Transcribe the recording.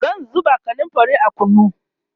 zan zuba kanumfari a kunu